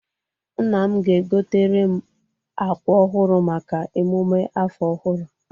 Nna m ga-egoteere m akwa ọhụrụ maka emume afọ ọhụrụ.